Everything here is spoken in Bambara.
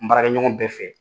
N baarakɛ ɲɔgɔn bɛɛ fɛ.